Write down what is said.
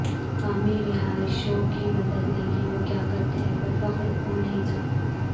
مقامی رہائشیوں کی مدد لیکن وہ کیا کرتے ہیں پر فخر ہو نہیں سکتا